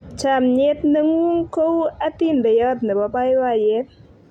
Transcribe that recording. chamiet ne ng'un ko u atindeyot nebo baibaiet